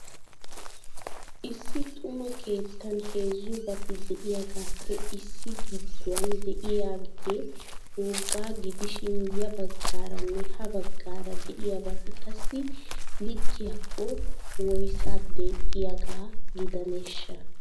Issi xuma keettan heezzubati de'iyaagappe issi giduwan de'iyaagee wogga gidishin ya baggaaranne ha baggaara de'iyaabaati qasai likiyaako woyssa deexiyaaga gidaneshsha?